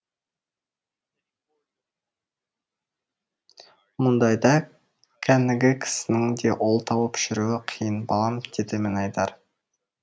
мұндайда кәнігі кісінің де ол тауып жүруі қиын балам деді мінайдар